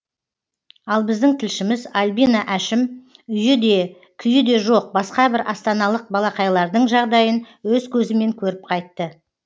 ал біздің тілшіміз альбина әшім үйі де күйі де жоқ басқа бір астаналық балақайлардың жағдайын өз көзімен көріп қайтты